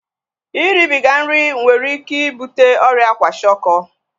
Iribiga nri nwere ike ibute ọrịa kwashiọkọ